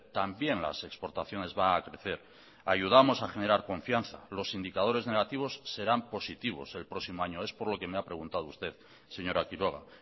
también las exportaciones van a crecer ayudamos a generar confianza los indicadores negativos serán positivos el próximo año es por lo que me ha preguntado usted señora quiroga